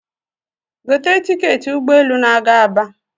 gote tiketị ụgbọelu na-aga Aba